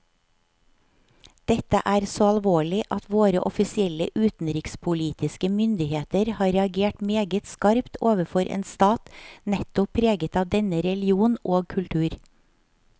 Dette er så alvorlig at våre offisielle utenrikspolitiske myndigheter har reagert meget skarpt overfor en stat nettopp preget av denne religion og kultur.